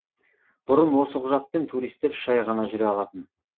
бұрын осы құжатпен туристер үш ай ғана жүре алатын